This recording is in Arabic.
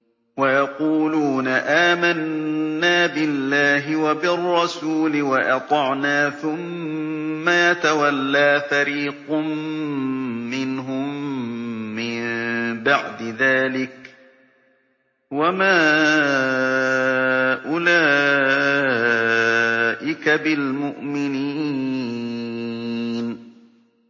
وَيَقُولُونَ آمَنَّا بِاللَّهِ وَبِالرَّسُولِ وَأَطَعْنَا ثُمَّ يَتَوَلَّىٰ فَرِيقٌ مِّنْهُم مِّن بَعْدِ ذَٰلِكَ ۚ وَمَا أُولَٰئِكَ بِالْمُؤْمِنِينَ